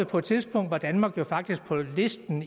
på et tidspunkt var danmark faktisk på listen nu